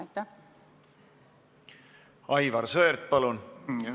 Aivar Sõerd, palun!